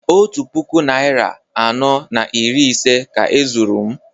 Otu puku naịra anọ na iri ise ka e zuru m